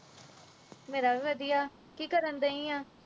ਮੇਰਾ ਵੀ ਵਧੀਆ ਕੀ ਕਰਨ ਦਈ ਆ